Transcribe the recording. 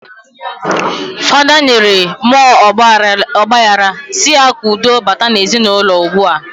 Fada nyere muo ogbahara si ya ka udo bata na ezi na uloua ugbua.